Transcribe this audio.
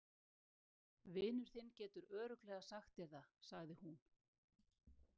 Vinur þinn getur örugglega sagt þér það, sagði hún.